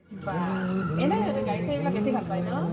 বাহ। এনেও সিহঁতে গাড়ী চাড়ী বিলাক বেছি ভাল পায় ন?